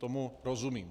Tomu rozumím.